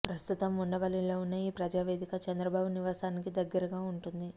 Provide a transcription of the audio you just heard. ప్రస్తుతం ఉండవల్లిలో ఉన్న ఈ ప్రజావేదిక చంద్రబాబు నివాసానికి దగ్గరగా ఉంటుంది